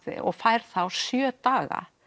og fær þá sjö daga